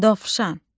Dovşan.